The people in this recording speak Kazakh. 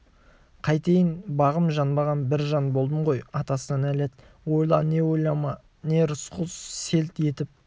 қайтейін бағым жанбаған бір жан болдым ғой атасына нәлет ойла не ойлама не рысқұл селт етіп